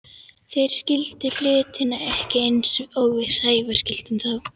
Þeir skildu hlutina ekki eins og við Sævar skildum þá.